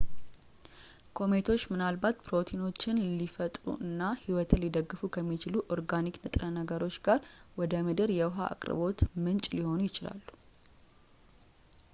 ኮሜቶች ምናልባት ፕሮቲኖችን ሊፈጥሩ እና ህይወትን ሊደግፉ ከሚችሉ ኦርጋኒክ ንጥረ ነገሮች ጋር ወደ ምድር የውሃ አቅርቦት ምንጭ ሊሆኑ ይችላሉ